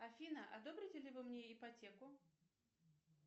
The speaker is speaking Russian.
афина одобрите ли вы мне ипотеку